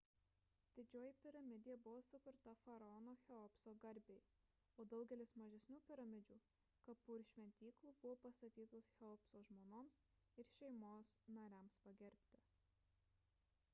didžioji piramidė buvo sukurta faraono cheopso garbei o daugelis mažesnių piramidžių kapų ir šventyklų buvo pastatytos cheopso žmonoms ir šeimos nariams pagerbti